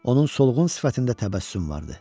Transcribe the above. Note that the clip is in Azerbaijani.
Onun solğun sifətində təbəssüm vardı.